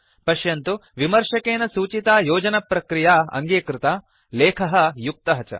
पश्यन्तु विमर्शकेन सूचिता योजनप्रक्रिया अङ्गीकृता लेखः युक्तः च